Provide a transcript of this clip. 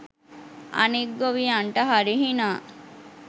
අනික් ගොවියන්ට හරි හිනා